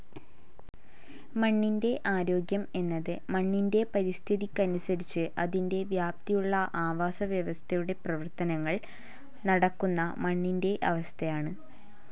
മണ്ണിൻ്റെ ആരോഗ്യം എന്നത് മണ്ണിൻ്റെ പരിതസ്ഥിതിക്കനുസരിച്ചു അതിൻ്റെ വ്യാപ്തിയുള്ള ആവാസവ്യവസ്ഥയുടെ പ്രവർത്തനങ്ങൾ നടക്കുന്ന മണ്ണിൻ്റെ അവസ്ഥയാണ്.